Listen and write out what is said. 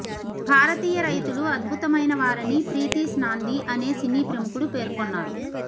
భారతీయ రైతులు అద్భుతమైన వారని ప్రితీశ్ నాందీ అనే సినీ ప్రముఖులు పేర్కొన్నారు